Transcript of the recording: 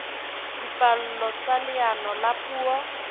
dipallo tsa leano la puo